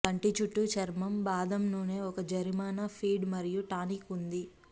కంటి చుట్టూ చర్మం బాదం నూనె ఒక జరిమానా ఫీడ్ మరియు టానిక్ ఉంది